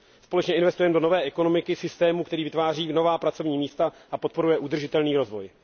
Společně investujeme do nové ekonomiky, systému, který vytváří nová pracovní místa a podporuje udržitelný rozvoj.